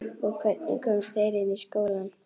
Og hvernig komust þeir inn í skólann?